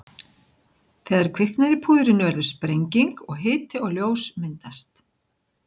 Þegar kviknar í púðrinu verður sprenging og hiti og ljós myndast.